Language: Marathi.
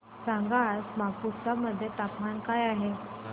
सांगा आज मापुसा मध्ये तापमान काय आहे